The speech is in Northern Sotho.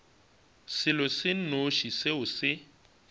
selo se nnoši seo se